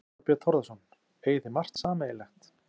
Þorbjörn Þórðarson: Eigið þið margt sameiginlegt?